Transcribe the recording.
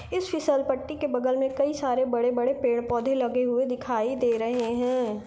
इस फसिल पट्टी के बगल मे कई सारे बड़े - बड़े पेड़ - पौधे लगे हुए दिखाई दे रहे है।